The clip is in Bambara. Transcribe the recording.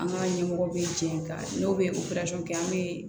An ka ɲɛmɔgɔ be jɛ ka n'o be kɛ an be